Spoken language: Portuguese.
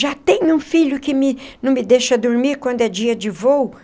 Já tem um filho que me não me deixa dormir quando é dia de voo?